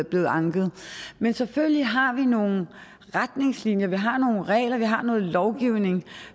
blevet anket men selvfølgelig har vi nogle retningslinjer vi har nogle regler vi har noget lovgivning